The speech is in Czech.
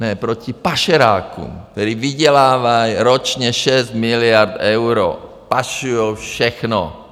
Ne, proti pašerákům, kteří vydělávají ročně 6 miliard euro, pašujou všechno.